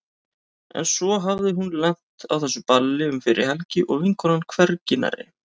En svo hafði hún lent á þessu balli um fyrri helgi og vinkonan hvergi nærri.